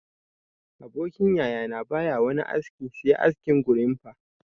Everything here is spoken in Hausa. Abokin yaya na ba ya wani aski se askin gorimfa